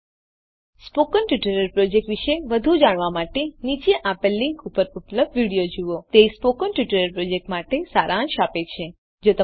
ઉદાહરણ તરીકે 19435 gt 53491 spoken tutorial project વિષે વધુ જાણવા માટે નીચે આપેલ લીંક ઉપર ઉપલબ્ધ વિડીઓ જુઓ તે સ્પોકન ટ્યુટોરીયલ પ્રોજેક્ટ માટે સારાંશ આપે છે